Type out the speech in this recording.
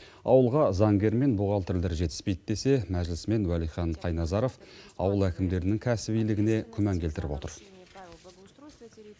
ауылға заңгер мен бухгалтерлер жетіспейді десе мәжілісмен уәлихан қайназаров ауыл әкімдерінің кәсібилігіне күмән келтіріп отыр